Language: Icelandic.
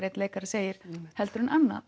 einn leikari segir heldur en annan